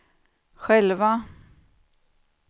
själva